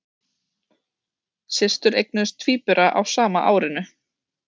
Systur eignuðust tvíbura á sama árinu